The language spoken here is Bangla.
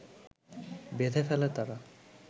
বেঁধে ফেলে তারা